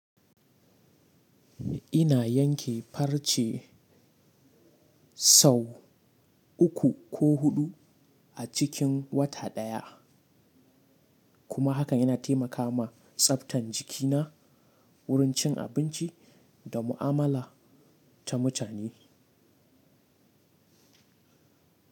Ina yanke farce sau uku ko huɗu a cikin wata ɗaya kuma hakan yana taimaka ma tsaftan jikina, wurin cin abinci da mu'amala ta mutane.